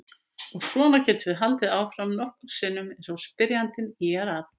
Og svona getum við haldið áfram nokkrum sinnum eins og spyrjandi ýjar að.